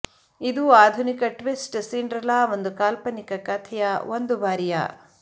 ಇದು ಆಧುನಿಕ twist Cinderella ಒಂದು ಕಾಲ್ಪನಿಕ ಕಥೆಯ ಒಂದು ಬಾರಿಯ